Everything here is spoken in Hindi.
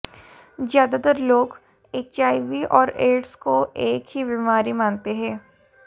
ज्यादातर लोग एचआईवी और एड्स को एक ही बीमारी मानते हैं